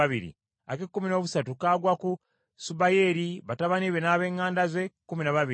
ak’ekkumi noobuna kagwa ku Mattisiya, batabani be n’ab’eŋŋanda ze, kkumi na babiri;